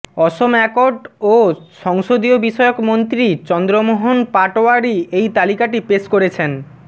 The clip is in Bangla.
অসম অ্যাকর্ড ও সংসদীয় বিষয়ক মন্ত্রী চন্দ্র মোহন পাটওয়ারি এই তালিকাটি পেশ করেছেন